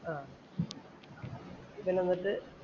ആഹ് പിന്നെ എന്നിട്ട്